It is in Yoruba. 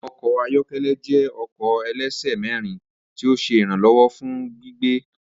Awọn ọkọ ayọkẹlẹ jẹ ọkọ ẹlẹsẹ mẹrin ti o ṣe iranlọwọ fun gbigbe.